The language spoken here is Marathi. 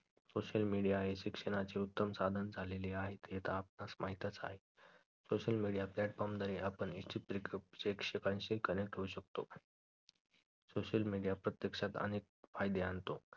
social media हे शिक्षणाचे उत्तम साधन झालेले आहेत आता आपणास माहीतच आहे social media platform द्वारे शिक्षकशी connect होऊ शकतो social media प्रत्यक्षात आणतो